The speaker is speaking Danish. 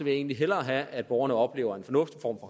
jeg egentlig hellere have at borgerne oplever en fornuftig form